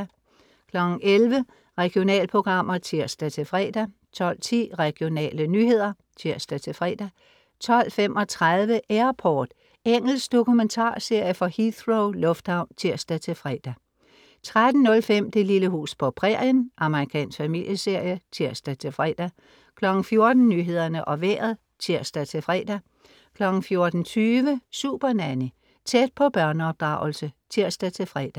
11.00 Regionalprogrammer (tirs-fre) 12.10 Regionale nyheder (tirs-fre) 12.35 Airport. Engelsk dokumentarserie fra Heathrow lufthavn (tirs-fre) 13.05 Det lille hus på prærien. Amerikansk familieserie (tirs-fre) 14.00 Nyhederne og Vejret (tirs-fre) 14.20 Supernanny. Tæt på børneopdragelse (tirs-fre)